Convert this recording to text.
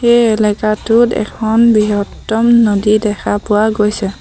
এই এলেকাটোত এখন বৃহত্তম নদী দেখা পোৱা গৈছে।